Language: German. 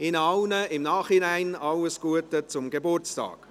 Ihnen allen im Nachhinein alles Gute zum Geburtstag.